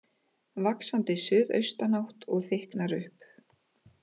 Vaxandi suðaustanátt og þykknar upp